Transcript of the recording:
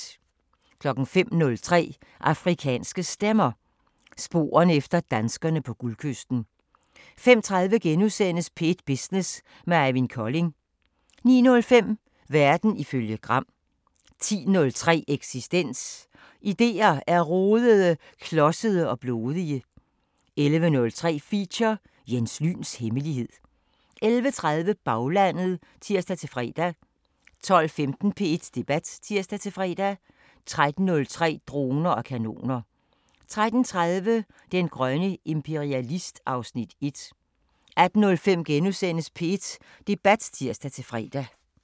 05:03: Afrikanske Stemmer: Sporerne efter danskerne på Guldkysten 05:30: P1 Business med Eivind Kolding * 09:05: Verden ifølge Gram 10:03: Eksistens: Idéer er rodede, klodsede og blodige 11:03: Feature: Jens Lyns hemmelighed 11:30: Baglandet (tir-fre) 12:15: P1 Debat (tir-fre) 13:03: Droner og kanoner 13:30: Den grønne imperialist (Afs. 1) 18:05: P1 Debat *(tir-fre)